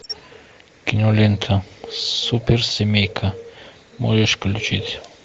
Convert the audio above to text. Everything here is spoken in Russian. кинолента суперсемейка можешь включить